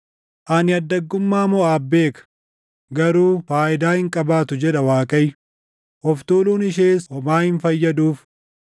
Ani addaggummaa Moʼaab beeka; // garuu faayidaa hin qabaatu” jedha Waaqayyo; “Of tuuluun ishees homaa hin fayyaduuf”